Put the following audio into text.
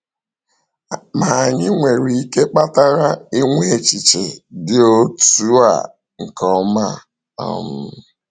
Ma, anyị nwere ihe kpatara ịnwe echiche dị otú a nke ọma? um